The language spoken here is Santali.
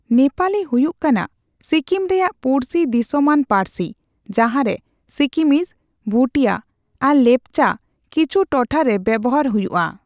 ᱱᱮᱯᱟᱞᱤ ᱦᱩᱭᱩᱜ ᱠᱟᱱᱟ ᱥᱤᱠᱤᱢ ᱨᱮᱭᱟᱜ ᱯᱩᱲᱥᱤ ᱫᱤᱥᱚᱢᱟᱱ ᱯᱟᱹᱨᱥᱤ, ᱡᱟᱦᱟᱨᱮ ᱥᱤᱠᱤᱢᱤᱡ (ᱵᱷᱩᱴᱤᱭᱟ) ᱟᱨ ᱞᱮᱯᱪᱟ ᱠᱤᱪᱷᱩ ᱴᱚᱴᱷᱟ ᱨᱮ ᱵᱮᱣᱦᱟᱨ ᱦᱩᱭᱩᱜᱼᱟ ᱾